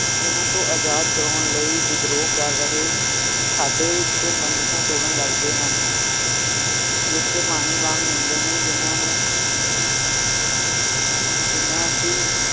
ਹਨ ਤੋਂ ਆਜ਼ਾਦ ਕਰਾਉਣ ਲਈ ਵਿਦਰੋਹ ਕਰ ਰਹੇ ਸਾਡੇ ਤੋਂ ਬੰਦਿਸ਼ਾਂ ਤੋੜਨ ਲਗ ਜਾਂਦੇ ਹਨ ਰਿਸ਼ਤੇ ਪਾਣੀ ਵਾਂਗ ਹੁੰਦੇ ਹਨ ਜਿਹਨਾਂ ਨੂੰ ਜਿਹਨਾਂ ਅਸੀਂ